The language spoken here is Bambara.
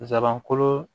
Zabankolo